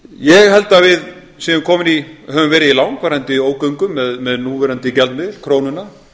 ég held að við höfum verið í langvarandi ógöngum með núverandi gjaldmiðil krónuna